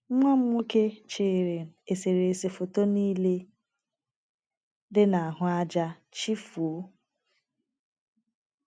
Nwa m nwoke, chịrị eserese foto nile dị n’ahụ ájá chịfuo! ”